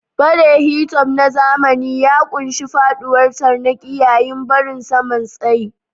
Fade hi-top na zamani ya ƙunshi faɗuwar tarnaƙi yayin barin saman tsayi.